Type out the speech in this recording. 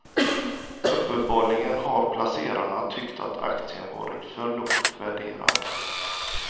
Uppenbarligen har placerarna tyckt att aktien varit för lågt värderad.